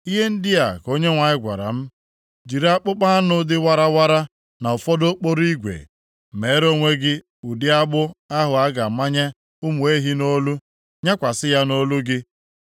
Ihe ndị a ka Onyenwe anyị gwara m, “Jiri akpụkpọ anụ dị warawara na ụfọdụ okporo igwe, meere onwe gị ụdị agbụ ahụ a na-amanye ụmụ ehi nʼolu, + 27:2 Lit. Yoku nyakwasị ya nʼolu gị.